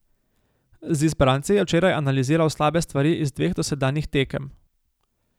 Z izbranci je včeraj analiziral slabe stvari iz dveh dosedanjih tekem.